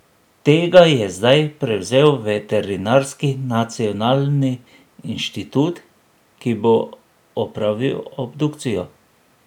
Tega je zdaj prevzel veterinarski nacionalni inštitut, ki bo opravil obdukcijo.